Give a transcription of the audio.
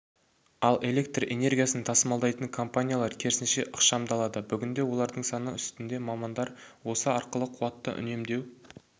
ал электр энергиясын тасымалдайтын компаниялар керісінше ықшамдалады бүгінде олардың саны үстінде мамандар осы арқылы қуатты үнемдеу